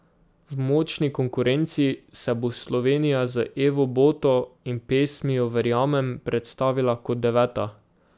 V močni konkurenci se bo Slovenija z Evo Boto in pesmijo Verjamem predstavila kot deveta.